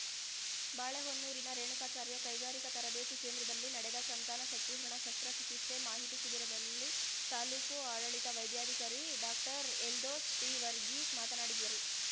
ಬಾಳೆಹೊನ್ನೂರಿನ ರೇಣುಕಾಚಾರ್ಯ ಕೈಗಾರಿಕಾ ತರಬೇತಿ ಕೇಂದ್ರದಲ್ಲಿ ನಡೆದ ಸಂತಾನ ಶಕ್ತಿಹರಣ ಶಸ್ತ್ರ ಚಿಕಿತ್ಸಾ ಮಾಹಿತಿ ಶಿಬಿರದಲ್ಲಿ ತಾಲೂಕು ಆಡಳಿತ ವೈದ್ಯಾಧಿಕಾರಿ ಡಾಕ್ಟರ್ ಎಲ್ದೋಸ್‌ ಟಿವರ್ಗೀಸ್‌ ಮಾತನಾಡಿದರು